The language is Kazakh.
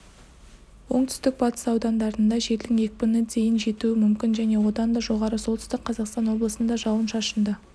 оңтүстік-батыс аудандарында желдің екпіні дейін жетуі мүмкін және одан да жоғары оңтүстік қазақстан облысында жауын-шашынды